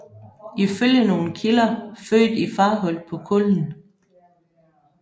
Ifølge nogle kilder født i Farhult på Kullen